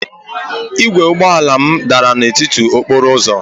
Igwe ụgbọ ala m dara n'etiti okporo ụzọ